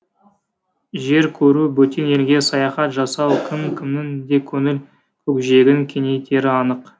жер көру бөтен елге саяхат жасау кім кімнің де көңіл көкжиегін кеңейтері анық